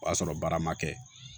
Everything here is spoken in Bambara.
O y'a sɔrɔ baara ma kɛ